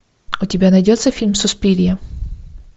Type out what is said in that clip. у тебя найдется фильм суспирия